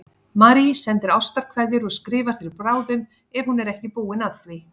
Marie sendir ástarkveðjur og skrifar þér bráðum ef hún er ekki búin að því.